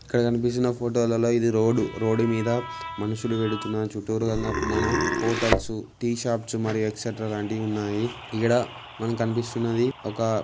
ఇక్కడ కనిపిస్తున్న ఫోటోలలో ఇది రోడ్డు రోడ్డు మీద మనుషులూ వెళ్తున్నారు చుట్టూరుగన మన హోటల్స్ టీ షాప్స్ మరియు ఎక్స్ట్రా లాంటివి ఉన్నాయి ఈడ మనకు కనిపిస్తున్నది ఒక